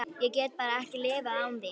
Ég get bara ekki lifað án þín.